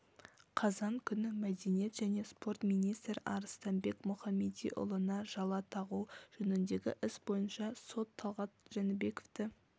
қазан күні мәдениет және спорт министрі арыстанбек мұхамедиұлыға жала тағу жөніндегі іс бойынша сот талғат жәнібековті